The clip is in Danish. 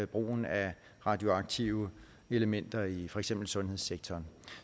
brugen af radioaktive elementer i for eksempel sundhedssektoren